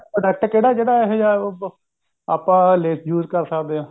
product ਕਿਹੜਾ ਜਿਹੜਾ ਇਹੋ ਜਿਹਾ ਆਪਾਂ use ਕਰ ਸਕਦੇ ਹਾਂ